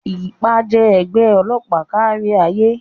IPA jẹ́ ẹgbẹ́ ọlọ́pàá kárí ayé.